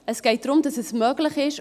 Es geht darum, dass es möglich ist.